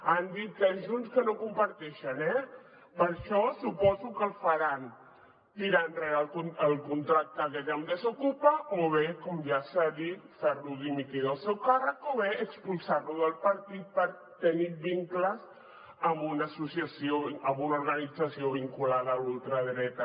han dit junts que no ho comparteixen eh per això suposo que el faran tirar enrere el contracte amb desokupa o bé com ja s’ha dit fer lo dimitir del seu càrrec o bé expulsar lo del partit pel fet de tenir vincles amb una organització vinculada a la ultradreta